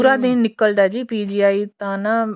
ਪੂਰਾ ਦਿਨ ਨਿੱਕਲ ਦਾ PGI ਤਾਂ ਨਾ